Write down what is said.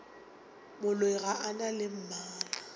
moloi ga a na mmala